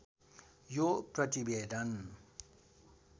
यो प्रतिवेदन